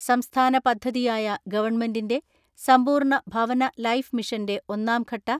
സംസ്ഥാന പദ്ധതിയായ ഗവൺമെന്റിന്റെ സമ്പൂർണ ഭവന ലൈഫ് മിഷന്റെ ഒന്നാം ഘട്ട